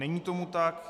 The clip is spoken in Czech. Není tomu tak.